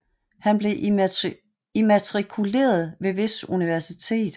Han blev immatrikuleret ved hvis universitet